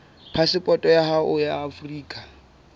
phasepoto ya hao ya afrika